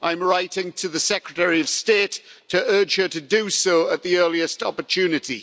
I'm writing to the Secretary of State to urge her to do so at the earliest opportunity.